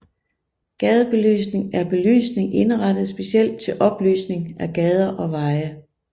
Gadebelysning er belysning indrettet specielt til oplysning af gader og veje